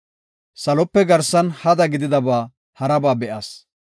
Salope garsan hada gididaba haraba be7as.